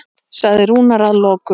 sagði Rúnar að lokum.